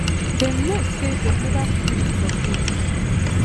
dem know say dem neva free from danger